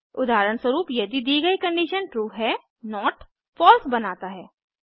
उदाहरणस्वरूप यदि दी गई कंडिशन ट्रू है नोट फलसे बनाता है